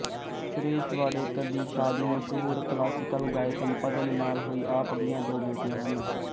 ਸੁਰੇਸ਼ ਵਾਡੇਕਰ ਦੀ ਸਾਦੀ ਮਸ਼ਹੂਰ ਕਲਾਸੀਕਲ ਗਾਇਕ ਪਦਮ ਨਾਲ ਹੋਈ ਆਪ ਦੀਆਂ ਦੋ ਬੇਟੀਆਂ ਹਨ